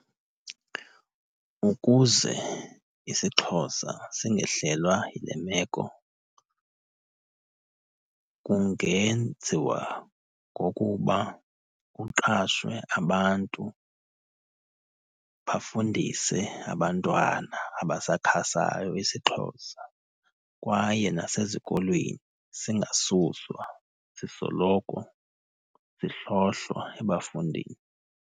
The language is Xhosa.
Ukuze isiXhosa singehlelwa yile meko kungenziwa ngokuba kuqashwe abantu bafundise abantwana abasakhasayo isiXhosa. Kwaye nasezikolweni singasuswa, sisoloko sihlohlwa ebafundini.